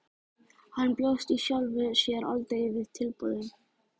Hann bjóst í sjálfu sér aldrei við tilboði.